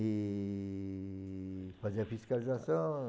E fazer a fiscalização.